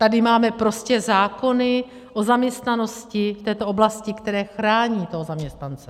Tady máme prostě zákony o zaměstnanosti v této oblasti, které chrání toho zaměstnance.